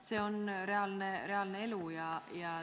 See on reaalne elu.